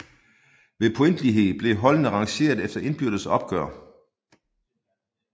Ved pointlighed blev holdene rangeret efter indbyrdes opgør